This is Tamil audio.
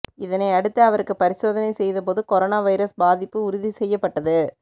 இதனை அடுத்து அவருக்கு பரிசோதனை செய்தபோது கொரோனா வைரஸ் பாதிப்பு உறுதி செய்யப்பட்டது